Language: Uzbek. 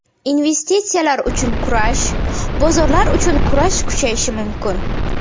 Investitsiyalar uchun kurash, bozorlar uchun kurash kuchayishi mumkin.